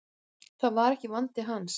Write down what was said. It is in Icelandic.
Það var ekki vandi hans.